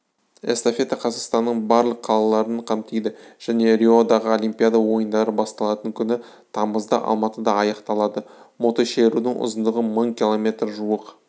эстафета қазақстанның барлық қалаларын қамтиды және риодағы олимпиада ойындары басталатын күні тамызда алматыда аяқталады мотошерудің ұзындығы мың км жуық